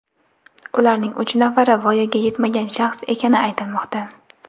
Ularning uch nafari voyaga yetmagan shaxs ekani aytilmoqda.